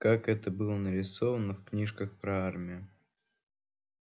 как это было нарисовано в книжках про армию